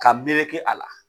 Ka meleke a la.